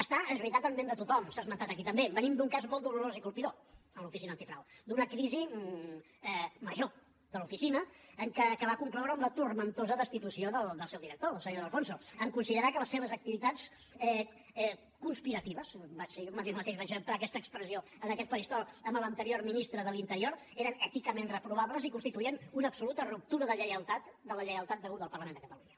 està és veritat en ment de tothom s’ha esmentat aquí també venim d’un cas molt dolorós i colpidor a l’oficina antifrau d’una crisi major de l’oficina que va concloure amb la tempestuosa destitució del seu director del senyor de alfonso en considerar que les seves activitats conspiratives jo mateix vaig emprar aquesta expressió en aquest faristol amb l’anterior ministre de l’interior eren èticament reprovables i constituïen una absoluta ruptura de lleialtat de la lleialtat deguda al parlament de catalunya